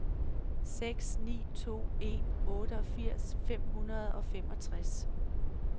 seks ni to en otteogfirs fem hundrede og femogtres